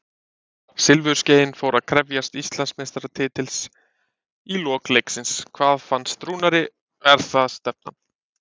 Silfurskeiðin fór að krefjast Íslandsmeistaratitils í lok leiksins, hvað finnst Rúnari, er það stefnan?